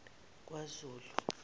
kwazulu